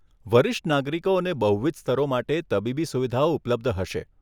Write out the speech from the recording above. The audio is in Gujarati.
વરિષ્ઠ નાગરિકો અને બહુવિધ સ્તરો માટે તબીબી સુવિધાઓ ઉપલબ્ધ હશે.